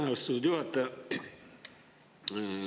Aitäh, austatud juhataja!